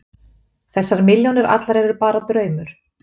Þessar milljónir allar eru bara draumur.